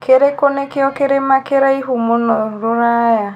kĩrikũ nĩkio kĩrima kĩraihu mũno rũraya